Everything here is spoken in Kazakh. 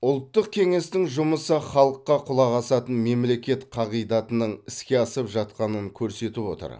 ұлттық кеңестің жұмысы халыққа құлақ асатын мемлекет қағидатының іске асып жатқанын көрсетіп отыр